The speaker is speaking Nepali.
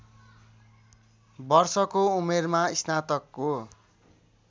वर्षको उमेरमा स्नातकको